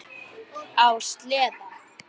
Á sleða.